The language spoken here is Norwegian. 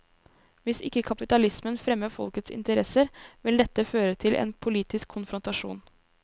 Hvis ikke kapitalismen fremmer folkets interesser, vil dette føre til en politisk konfrontasjon.